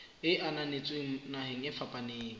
e ananetsweng naheng e fapaneng